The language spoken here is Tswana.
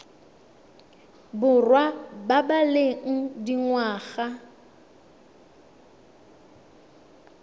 borwa ba ba leng dingwaga